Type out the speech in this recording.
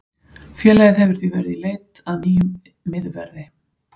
Félagið hefur því verið í í leit að nýjum miðverði.